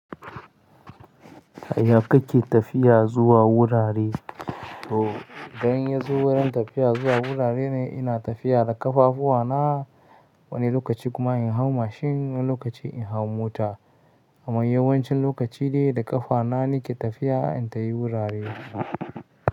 Haya kake tafiya zuwa wurare? O, ganin yazo wurin tafiya zuwa wurare ne ina tafiya da ƙafafu wa na wani lokaci kuma in hau mashin wani lokaci in hau mota. Amma yawancin lokaci dai da ƙafa na nake tafiya in tafi wurare.